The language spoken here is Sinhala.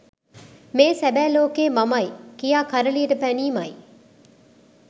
මේ සැබෑ ලෝකයේ මමයි කියා කරලියට පැනීමයි.